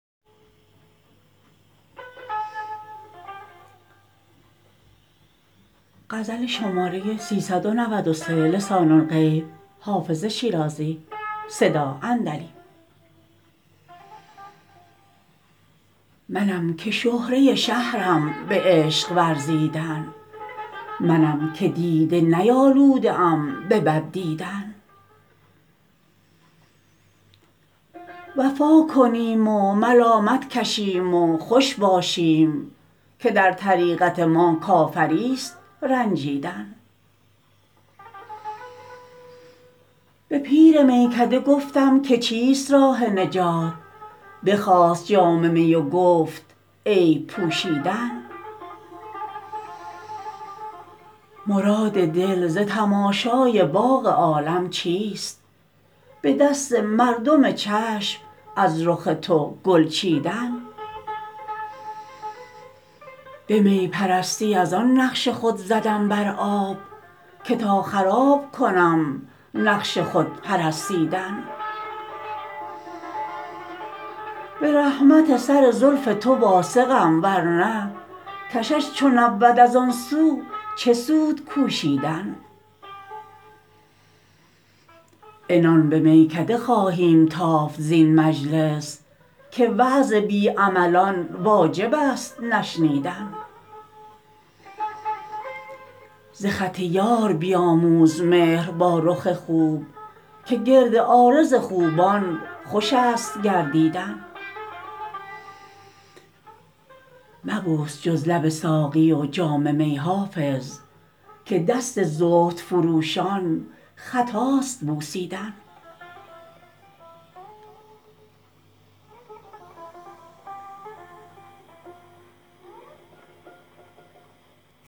منم که شهره شهرم به عشق ورزیدن منم که دیده نیالوده ام به بد دیدن وفا کنیم و ملامت کشیم و خوش باشیم که در طریقت ما کافریست رنجیدن به پیر میکده گفتم که چیست راه نجات بخواست جام می و گفت عیب پوشیدن مراد دل ز تماشای باغ عالم چیست به دست مردم چشم از رخ تو گل چیدن به می پرستی از آن نقش خود زدم بر آب که تا خراب کنم نقش خود پرستیدن به رحمت سر زلف تو واثقم ورنه کشش چو نبود از آن سو چه سود کوشیدن عنان به میکده خواهیم تافت زین مجلس که وعظ بی عملان واجب است نشنیدن ز خط یار بیاموز مهر با رخ خوب که گرد عارض خوبان خوش است گردیدن مبوس جز لب ساقی و جام می حافظ که دست زهد فروشان خطاست بوسیدن